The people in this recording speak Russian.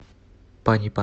панипат